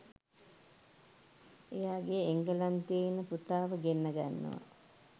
එයාගේ එංගලන්තයේ ඉන්න පුතාව ගෙන්න ගන්නව